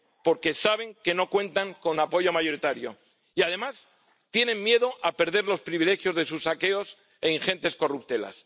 Porque saben que no cuentan con apoyo mayoritario y, además, tienen miedo a perder los privilegios de sus saqueos e ingentes corruptelas.